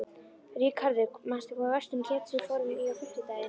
Ríkharður, manstu hvað verslunin hét sem við fórum í á fimmtudaginn?